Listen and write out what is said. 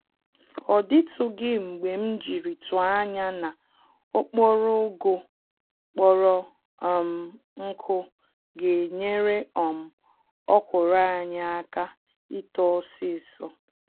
Ọdịtụghị mgbe mjiri tụọ ányá na okporo ụgụ kpọrọ um nkụ genyere um ọkwụrụ anyị àkà ito ọsịsọ